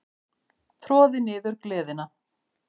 Troði niður gleðina.